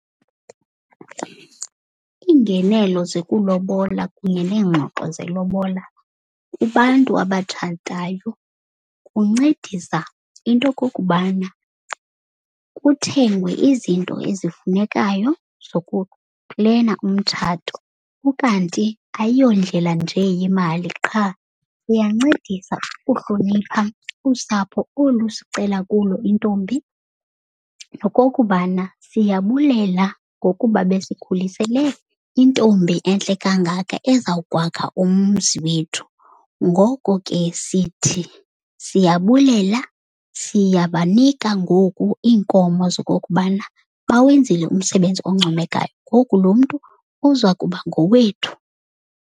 Iingenelo zekulobola kunye neengxoxo zelobola kubantu abatshatayo kuncedisa into yokokubana kuthengwe izinto ezifunekayo zokuplena umtshato. Ukanti ayiyondlela nje yemali qha, uyancedisa ukuhlonipha usapho olu sicela kulo intombi. Nokokubana siyabulela ngokuba besikhulisele intombi entle kangaka ezawukwakha umzi wethu. Ngoko ke sithi siyabulela, siyabanika ngoku iinkomo zokokubana bawenzile umsebenzi oncomekayo. Ngoku lo mntu uzakuba ngowethu.